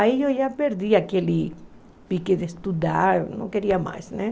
Aí eu já perdi aquele pique de estudar, não queria mais, né?